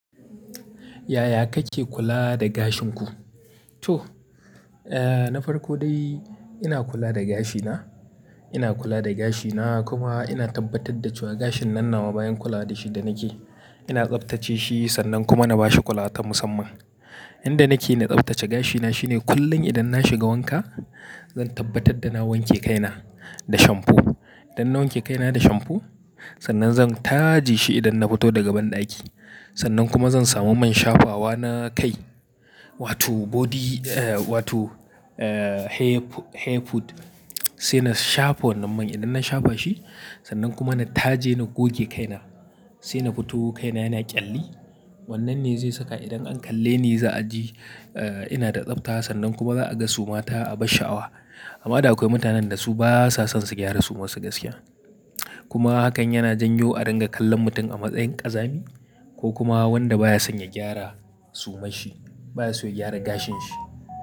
Yaya kake kula da gashin ku? To, eh na farko dai ina kula da gashina, ina kula da gashina kuma ina tabbatar da cewa gashin nan na bayan kula da shi da nake, ina tsaftace shi sannan kuma na bashi kula ta musamman. Inda nake na tsaftace gashina shine kullum idan na shiga wanka, zan tabbatar da na wanke kaina da shamfo. Idan na wanke kaina da shamfo sannan zan taje shi idan na fito daga banɗaki. Sannan kuma zan samu man shafawa na kai wato body eh wato eh hair fu-hair food sai na shafa wannan man. Idan na shafa shi sannan kuma na taje na goge kaina sai na fito kaina yana ƙyalli. Wannan ne zai saka idan an kalle ni za a ji eh ina da tsafta sannan kuma za a ga suma ta abar sha'awa. Amma da akwai mutanen da su basa son su gyara sumansu gaskiya. Kuma hakan yana janyo a dinga kallon mutum a matsayin ƙazami ko kuma wanda baya son ya gyara sumanshi baya so ya gyara gashin shi.